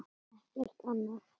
Ekkert annað?